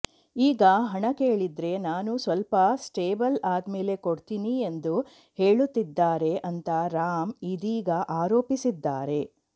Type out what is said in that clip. ಈಗ ಹಣ ಕೇಳಿದ್ರೆ ನಾನು ಸ್ವಲ್ಪ ಸ್ಟೇಬಲ್ ಆದ್ಮೇಲೆ ಕೊಡ್ತಿನಿ ಎಂದು ಹೇಳುತ್ತಿದ್ದಾರೆ ಅಂತ ರಾಮ್ ಇದೀಗ ಆರೋಪಿಸಿದ್ದಾರೆ